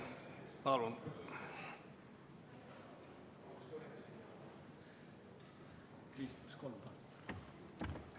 Palun!